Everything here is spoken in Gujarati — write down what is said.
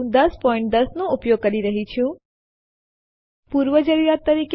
આ ટ્યુટોરીયલ માં આપણે જોશું કે રેગ્યુલર ફાઈલો કેવી રીતે નિયંત્રિત કરવું